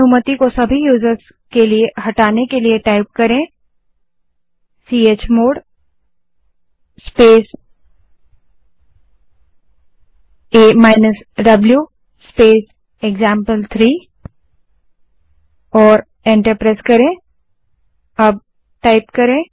सभी यूज़र्स के लिए राइट अनुमति हटाने के लिए चमोड़ स्पेस a द्व स्पेस एक्जाम्पल3 कमांड टाइप करें और एंटर दबायें